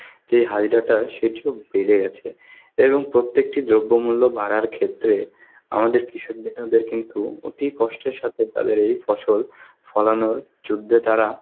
যে সেটিও বেড়ে গেছে এবং প্রত্যেকটি দ্রব্যমূল্য বাড়ার ক্ষেত্রে আমাদের কৃষক বিন্দুদের কিন্তু অতি কষ্টের সাথে তাদের এই ফসল পালানোর যুদ্ধে তারা